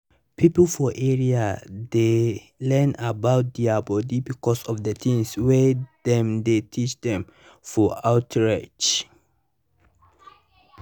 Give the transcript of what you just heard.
people for area dey learn about dia body because of the things wey dem dey teach dem for outreach.